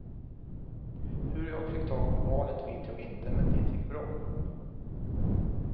Hur jag fick tag på barnet vet jag inte men det gick bra.